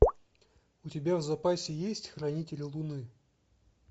у тебя в запасе есть хранители луны